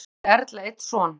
Áður átti Erla einn son.